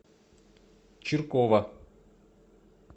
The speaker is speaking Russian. чиркова